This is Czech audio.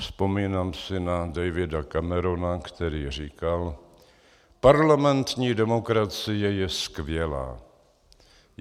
Vzpomínám si na Davida Camerona, který říkal: "Parlamentní demokracie je skvělá.